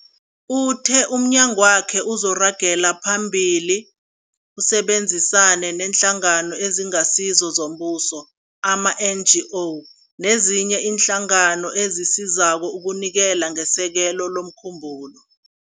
Uthe umnyagwakhe uzoragela phambili usebenzisane neeNhlangano eziNgasizo zoMbuso, ama-NGO, nezinye iinhlangano ezisizako ukunikela ngesekelo lomkhumbulo.